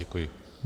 Děkuji.